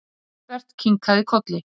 Engilbert kinkaði kolli.